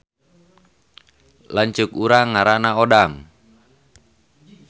Lanceuk urang ngaranna Odang